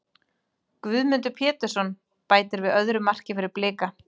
Guðmundur Pétursson bætir við öðru marki fyrir Blika.